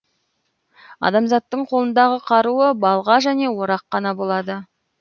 адамзаттың қолындағы қаруы балға және орақ қана болады